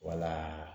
Wala